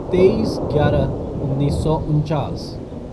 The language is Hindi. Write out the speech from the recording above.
तेईस ग्यारह उन्नीस सौ उनचास